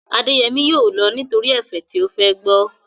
Adéyẹmí yóò lọ nítorí ẹ̀fẹ̀ tí ó fẹ́ gbọ́